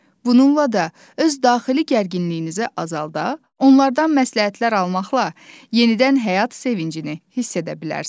Bununla da öz daxili gərginliyinizi azalda, onlardan məsləhətlər almaqla yenidən həyat sevincini hiss edə bilərsiniz.